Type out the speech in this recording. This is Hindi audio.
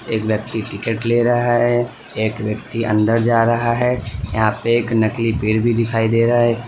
एक व्यक्ति टिकट ले रहा है एक व्यक्ति अन्दर जा रहा है यहां पे एक नकली पेड़ भी दिखाई दे रहा है।